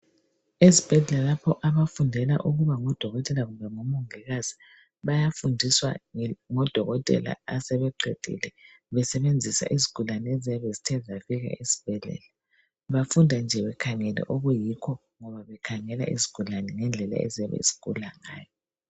Esibhedlela, lapha abafundela ukuba ngodokotela kumbe ngomongikazi. Bayafundiswa ngodokotela asebeqed8le. Besebenzisa izigulane eziyabe zibuyile edibhedlela. Bafunda bekhangele okuyikho. Bekhangele izigulane, ngendlela eziyabe zigula ngayo.